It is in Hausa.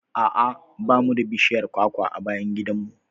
A'a ba mu da bishiyar kwakwa a bayan gidan mu.